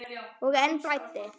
Og enn blæddi.